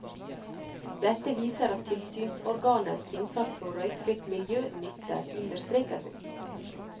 Dette viser at tilsynsorganenes innsats for røykfritt miljø nytter, understreker hun.